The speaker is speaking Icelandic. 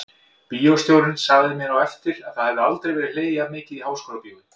Bíóstjórinn sagði mér á eftir að það hefði aldrei verið hlegið jafn mikið í Háskólabíói.